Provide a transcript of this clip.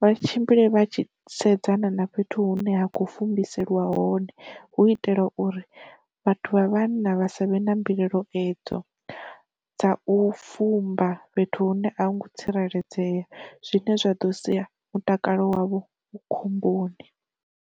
vha tshimbile vha tshi sedzana na fhethu hune ha khou fumbiseliwa hone hu itela uri vhathu vha vhanna vha savhe na mbilaelo edzo dza u fumba fhethu hune ahungo tsireledzea zwine zwa ḓo sia mutakalo wavho khomboni.